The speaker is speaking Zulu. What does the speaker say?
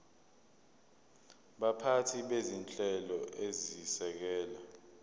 baphathi bezinhlelo ezisekela